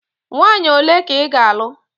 Nwaanyị ole ka ị ga-alụ?